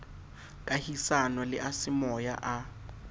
kahisano le a semoya a